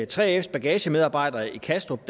3fs bagagemedarbejdere i kastrup